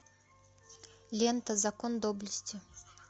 лента закон доблести